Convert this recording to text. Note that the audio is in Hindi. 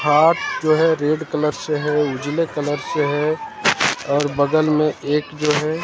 हाथ जो है रेड कलर से है उजले कलर से है और बगल में एक जो है--